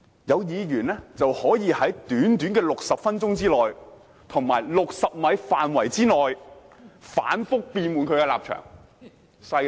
有議員可以在短短60分鐘內，以及60米範圍內，反覆變換其立場，厲害吧？